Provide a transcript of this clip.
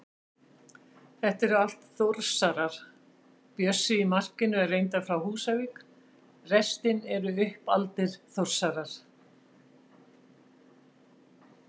Þetta eru allt Þórsarar, Bjössi í markinu er reyndar frá Húsavík, restin eru uppaldir Þórsarar.